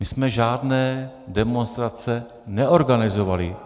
My jsme žádné demonstrace neorganizovali.